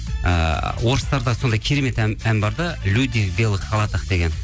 ыыы орыстарда сондай керемет ән бар да люди в белых халатах деген